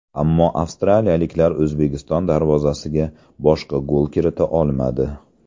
Ammo avstraliyaliklar O‘zbekiston darvozasiga boshqa gol kirita olmadi.